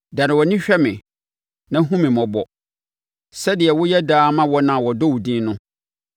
Dane wʼani hwɛ me na hunu me mmɔbɔ sɛdeɛ woyɛ daa ma wɔn a wɔdɔ wo din no.